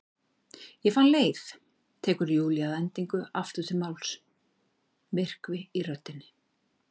Ég fann leið, tekur Júlía að endingu aftur til máls, myrkvi í röddinni.